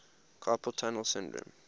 carpal tunnel syndrome